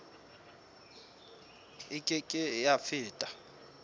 e ke ke ya feta